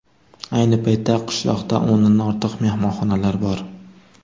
Ayni paytda qishloqda o‘ndan ortiq mehmonxonalar bor.